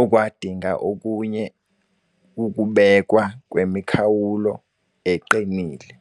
okwadinga okunye ukubekwa kwemikhawulo eqinile.